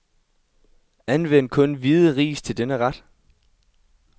Anvend kun hvide ris til denne ret.